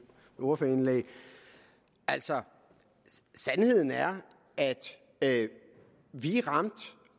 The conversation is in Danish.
ordførerindlæg altså sandheden er at vi